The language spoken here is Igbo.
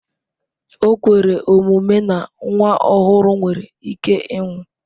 O kwere omume na nwa ọhụrụ nwere ike ịnwụ.